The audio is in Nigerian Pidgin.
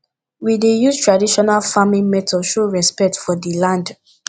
we dey use traditional farming method show respect for di land